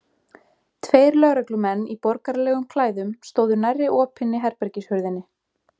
Tveir lögreglumenn í borgaralegum klæðum stóðu nærri opinni herbergishurðinni.